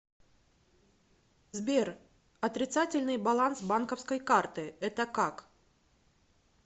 сбер отрицательный баланс банковской карты это как